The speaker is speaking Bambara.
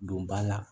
Don ba la